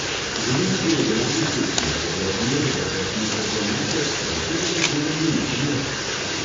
Želim si regularne tekme, da bodo razmere za vse smučarke enake, kar včeraj na treningu niso bile.